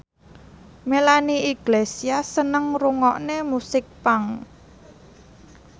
Melanie Iglesias seneng ngrungokne musik punk